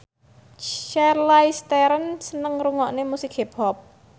Charlize Theron seneng ngrungokne musik hip hop